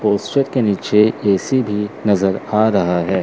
के नीचे ऐ_सी भी नजर आ रहा है।